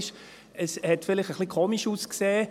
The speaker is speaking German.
Es sah vielleicht etwas komisch aus.